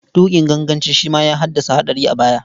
Tuƙin ganganci shi ma ya haddasa haɗura a baya.